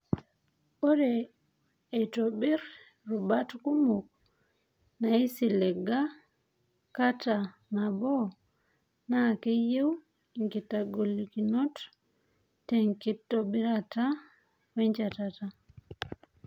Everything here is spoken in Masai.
Ore aitobirr rubat kumok naisiliga kata nabo, naa keyau ingolikinot tenkitobirata wenchetata.